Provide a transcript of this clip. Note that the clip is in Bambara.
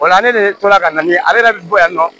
O la ne de tora ka na ne yɛrɛ bɛ bɔ yan nɔ